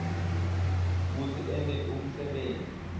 kutsi ente umsebenti